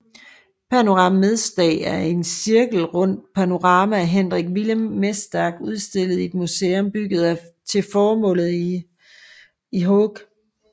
Panorama mesdag er et cirkelrundt panorama af Hendrik Willem Mesdag udstillet i et museum bygget til formålet i Haag